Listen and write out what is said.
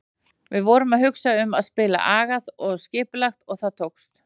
Við vorum að hugsa um að spila agað og skipulagt og það tókst.